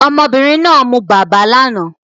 Ọmọbìnrin náà mu bàbá lánàá